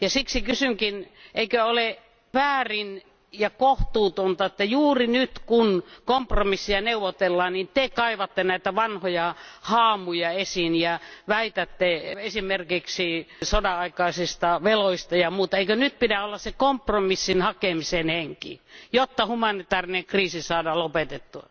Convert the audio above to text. Siksi kysynkin eikö ole väärin ja kohtuutonta, että juuri nyt, kun kompromissia neuvotellaan, Te kaivatte näitä vanhoja haamuja esiin ja puhutte esimerkiksi sodanaikaisista veloista ja muista? Eikö nyt pidä olla se kompromissin hakemisen henki, jotta humanitaarinen kriisi saadaan lopetettua?